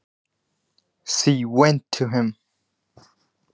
Hún fór til hans.